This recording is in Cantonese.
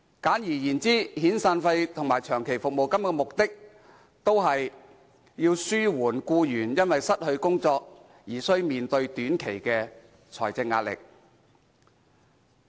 簡而言之，遣散費及長期服務金的目的，都是要紓緩僱員因失去工作而須面對短期的財政壓力。